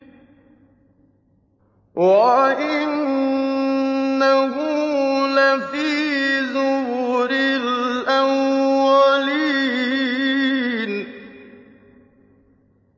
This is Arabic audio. وَإِنَّهُ لَفِي زُبُرِ الْأَوَّلِينَ